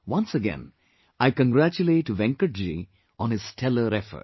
Once again, I congratulate Venkatji on his stellar effort